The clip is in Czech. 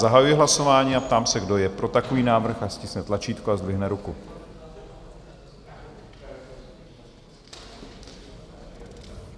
Zahajuji hlasování a ptám se, kdo je pro takový návrh, ať stiskne tlačítko a zdvihne ruku.